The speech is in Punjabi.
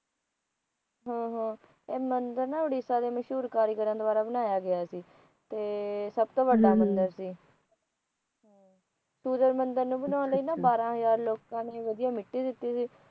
ਹਾਂ ਹਾਂ ਇਹ ਮੰਦਰ ਨਾ ਉੜਿਸਾ ਮਸ਼ਹੂਰ ਕਾਰੀਗਰਾਂ ਦੁਆਰਾ ਬਣਾਇਆ ਗਿਆ ਸੀ ਤੇ ਸੱਭ ਤੋ ਵੱਡਾ ਮੰਦਰ ਸੀ ਸੂਰਜ ਮੰਦਰ ਨੂੰ ਬਣਾਉਣ ਲਈ ਨਾ ਬਾਹਰਾ ਹਜਾਰ ਲੋਕਾ ਨੇ ਵੱਧਿਆਂ ਮਿੱਟੀ ਦਿੱਤੀ ਸੀ